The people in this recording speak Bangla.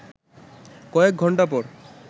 কয়েক ঘণ্টা পর